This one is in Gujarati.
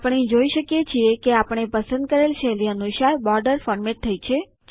આપણે જોઇ શકીએ છીએ કે આપણે પસંદ કરેલ શૈલી અનુસાર બોર્ડર ફોર્મેટ થઇ છે